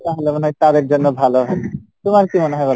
তাহলে মনে হয় তাদের জন্য ভালো হবে, তোমার কী মনে হয় বলো?